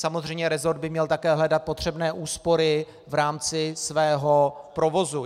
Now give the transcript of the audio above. Samozřejmě resort by měl také hledat potřebné úspory v rámci svého provozu.